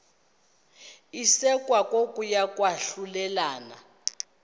isekwa kokuya kwahlulelana